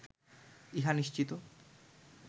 ইহা নিশ্চিত